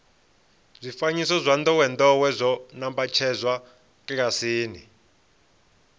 zwifanyiso zwa ndowendowe zwo nambatsedzwa kilasini